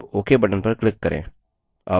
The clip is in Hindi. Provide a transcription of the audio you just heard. अब ok button पर click करें